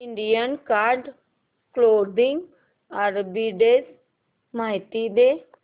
Indian card clothing arbitrage माहिती दे